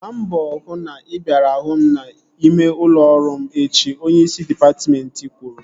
Gbaa mbọ hụ na ị bịara hụ m n'ime ụlọ ọrụ m echi! Onyeisi dịpatmentị kwuru